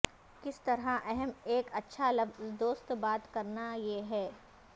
کس طرح اہم ایک اچھا لفظ دوست بات کرنا یہ ہے